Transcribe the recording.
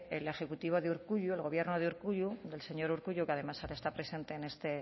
el ejecutivo de urkullu el gobierno de urkullu del señor urkullu que además ahora está presente en este